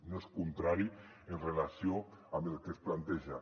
no és contrari en relació amb el que es planteja